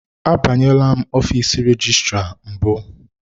Abanyela ọfiisi rejistra mbụ.